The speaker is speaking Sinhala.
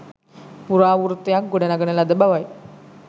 ප්‍රරාවෘත්තයක් ගොඩනඟන ලද බවයි